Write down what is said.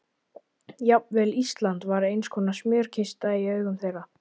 Jafnvel Ísland var einskonar smjörkista í augum þeirra.